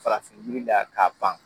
Farafin yira la k'a ban